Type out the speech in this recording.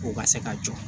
K'u ka se ka jɔ